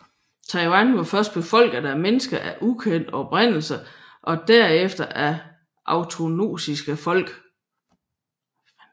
Taiwan var først beboet af mennesker af ukendt oprindelse og derefter af austronesiske folk